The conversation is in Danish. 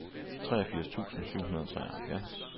treogfirs tusind syv hundrede og treoghalvfjerds